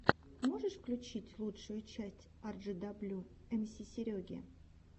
можешь включить лучшую часть арджидаблю эмси сереги